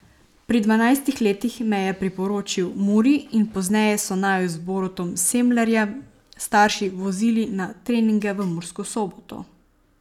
Pri dvanajstih letih me je priporočil Muri in pozneje so naju z Borutom Semlerjem starši vozili na treninge v Mursko Soboto.